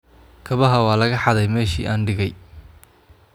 Kabaha waa laga xaday meeshii aan dhigay